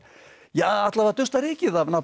alla vega dusta rykið af nafni